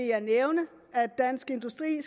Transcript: jeg nævne at dansk industri i